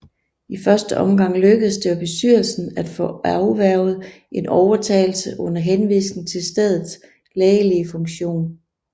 I første omgang lykkedes det bestyrelsen at få afværget en overtagelse under henvisning til stedets lægelige funktion